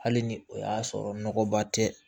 Hali ni o y'a sɔrɔ nɔgɔba tɛ